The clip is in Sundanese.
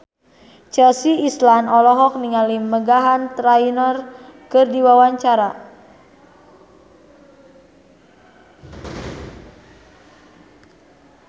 Chelsea Islan olohok ningali Meghan Trainor keur diwawancara